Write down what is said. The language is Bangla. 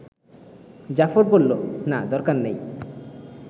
জাফর বলল, না দরকার নাই